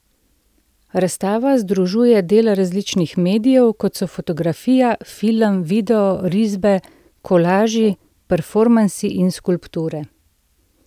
Razstava združuje dela različnih medijev, kot so fotografija, film, video, risbe, kolaži, performansi in skulpture.